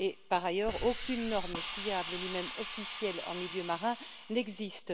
Par ailleurs, aucune norme fiable ni même officielle en milieu marin n'existe.